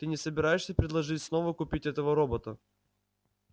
ты не собираешься предложить снова купить этого робота